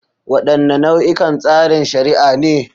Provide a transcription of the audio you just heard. Wadanne nau'ikan tsarin shari'a ne?